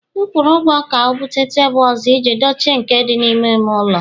M kwụrụ ụgwọ ka o buta tebụl ọzọ iji dochie nke dị n'ime ime ụlọ